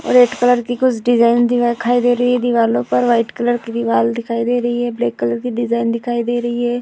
और red colour की कुछ डिजाइन दिखाई दे रही है | दीवालों पर वाइट कलर की दीवाल दिखाई दे रही है ब्लैक कलर की डिजाइन दिखाई दे रही है।